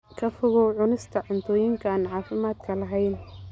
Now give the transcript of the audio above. Ka fogow cunista cuntooyinka aan caafimaadka lahayn.